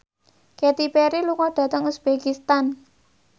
Katy Perry lunga dhateng uzbekistan